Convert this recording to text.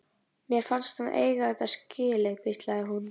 Mér fannst hann eiga þetta skilið- hvíslaði hún.